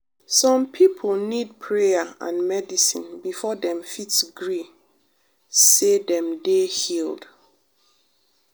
some pipo need prayer and medicine before dem fit gree say dem dey healed.